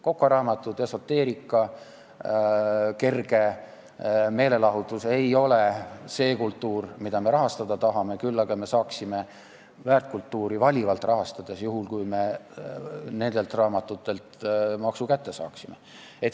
Kokaraamatud, esoteerika, kerge meelelahutus ei ole see kultuur, mida me rahastada tahame, küll aga, kui me nendelt raamatutelt maksu kätte saaksime, saaksime väärtkultuuri valivalt rahastada.